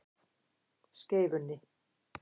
Skeifunni